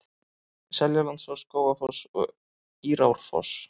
Seljalandsfoss, Skógafoss og Írárfoss.